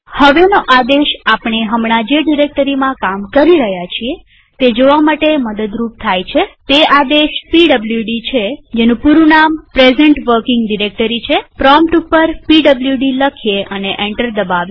હવેનો આદેશ આપણે હમણાં જે ડિરેક્ટરીમાં કામ કરી રહ્યા છીએ તે જોવા માટે મદદરૂપ થાય છેતે આદેશ પીડબ્લુડી છેપૂરું નામ પ્રેઝન્ટ વર્કિંગ ડિરેક્ટરી છેપ્રોમ્પ્ટ ઉપર પીડબ્લુડી લખીએ અને એન્ટર દબાવીએ